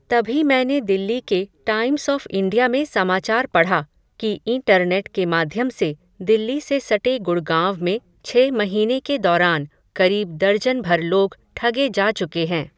तभी मैंने दिल्ली के टाइम्स ऑफ़ इंडिया में समाचार पढ़ा, कि इं टरनेट के माध्यम से, दिल्ली से सटे गुड़गांव में छह महीने के दौरान, करीब दर्जन भर लोग, ठगे जा चुके हैं